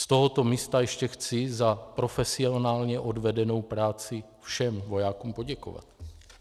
Z tohoto místa ještě chci za profesionálně odvedenou práci všem vojákům poděkovat.